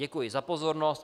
Děkuji za pozornost.